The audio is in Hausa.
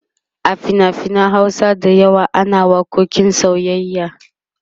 a finafinan Hausa da yawa ana waƙoƙin soyyayya